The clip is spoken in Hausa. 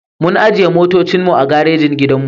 Muna ajiye motocin mu a garejin gidanmu.